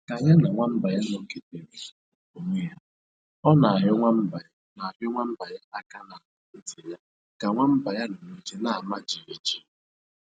Ka ya na nwamba ya nọketere onwe ha, ọ na-ahịọ nwamba na-ahịọ nwamba ya aka n'agba nti ya ka nwamba ya nọ n'oche ama jighijighi